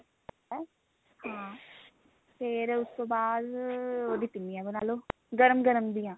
ਹਾਂ ਫੇਰ ਉਸ ਤੋਂ ਬਾਅਦ ਉਹਦੀਆਂ ਪਿੰਨੀਆ ਬਣਾ ਲਓ ਗਰਮ ਗਰਮ ਦੀਆਂ